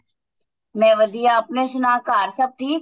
ਮੈਂ ਵਧੀਆ ਆਪਣੀ ਸੁਣਾ ਘਰ ਸਭ ਠੀਕ